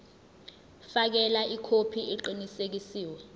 fakela ikhophi eqinisekisiwe